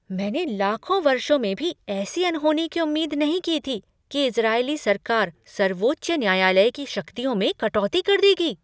मैंने लाखों वर्षों में भी ऐसी अनहोनी की उम्मीद नहीं की थी कि इजरायली सरकार सर्वोच्च न्यायालय की शक्तियों में कटौती कर देगी।